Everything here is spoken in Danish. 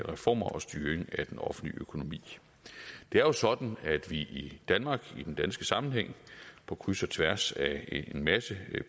reformer og styring af den offentlige økonomi det er jo sådan at vi i danmark i den danske sammenhæng på kryds og tværs af en masse